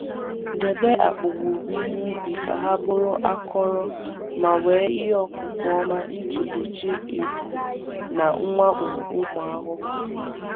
Debe akpa owuwe ihe ubi ka ha bụrụ akọrọ ma nwee ikuku ọma iji gbochie ebu na mwakpo ụmụ ahụhụ.